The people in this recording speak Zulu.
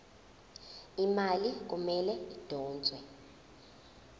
imali kumele idonswe